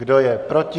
Kdo je proti?